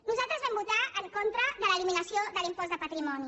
nosaltres vam votar en contra de l’eliminació de l’impost de patrimoni